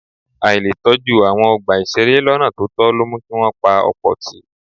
Àìletọ́jú àwọn ọgbà ìṣeré lọ́nà tó tọ́ ló mú kí wọ́n pa ọ̀pọ̀ tì.